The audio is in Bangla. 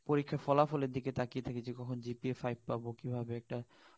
ওই ফলাফলের দিকে তাকিয়ে থাকি যে কখন আমরা GPA ফাইভ পাবো কিভাবে একটা